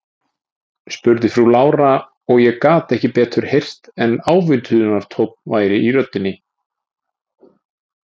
spurði frú Lára, og ég gat ekki betur heyrt en ávítunartónn væri í röddinni.